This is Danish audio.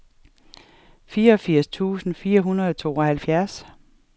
fireogfirs tusind fire hundrede og tooghalvfjerds